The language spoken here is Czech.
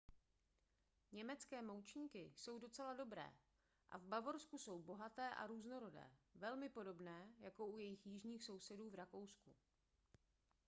německé moučníky jsou docela dobré a v bavorsku jsou bohaté a různorodé velmi podobné jako u jejich jižních sousedů v rakousku